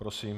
Prosím.